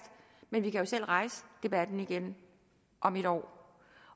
men vi kan jo selv rejse debatten igen om et år